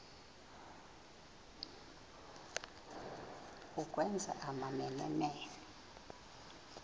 ukwenza amamene mene